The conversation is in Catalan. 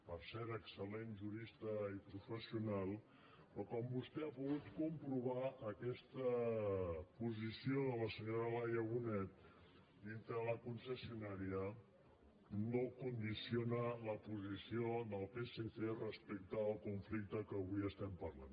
per cert excel·lent jurista i professional però com vostè ha pogut comprovar aquesta posició de la senyora laia bonet dintre de la concessionària no condiciona la posició del psc respecte al conflicte que avui estem parlant